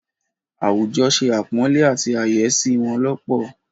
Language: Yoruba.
Àwùjọ se àpọ̀nlé àti àyẹ́sí wọn lọ́pọ̀.